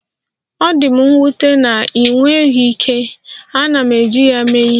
Ọ dị m nwute na ịnweghị ike, ana m eji ya eme ihe.